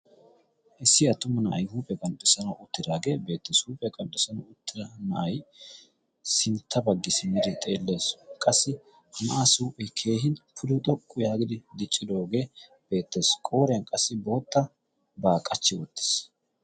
Issi attuma na'ay huuphee qanxxessanawu uttiraagee beettassi huuphe qanxxessana uttira na'ay sintta baggi siniri xeellaesu qassi h na'aa suuphi keehin pulo xoqqu yaagidi diccidoogee beettassi qooriyan qassi bootta baa qachchi wottiis.